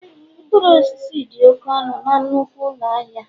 mkpụrụ osisi dị oke ọnụ na nnukwu ụlọ ahịa